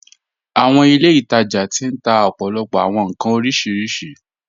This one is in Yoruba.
Àwọn ilẹ̀-itaja ti n tà òpó̩lópó̩ àwọn nkàn orísiríṣí.